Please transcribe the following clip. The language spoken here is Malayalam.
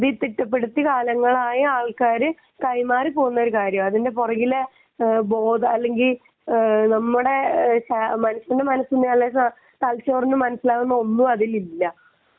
എഴുതിപ്പിക്കപ്പെട്ടിരിക്കുന്ന കാലങ്ങളായിട്ട് ആളുകൾ കൈമാറി പോകുന്ന ഒരു കാര്യമാണ് അതിന്റെ പുറകിലെ ബോധം അല്ലെങ്കിൽ നമ്മുടെ മനുഷ്യന്റെ മനസ്സിന് അല്ലെങ്കിൽ തലച്ചോറിന് മനസ്സിലാവുന്ന ഒന്നും അതിൽ ഇല്ല